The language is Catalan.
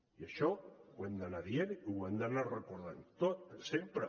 i això ho hem d’anar dient i ho hem d’anar recordant sempre